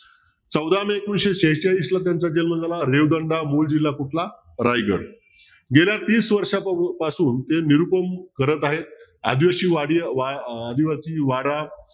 चौदा मे एकोणविशे सेहेचाळीसला त्यांचा जन्म कुठे झाला रेवदंडा मूळ जिल्हा कुठला रायगड गेल्या तीस वर्षांपासून ते निरूपण करत आहेत आदिवासी वाडा